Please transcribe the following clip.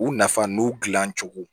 U nafa n'u gilan cogo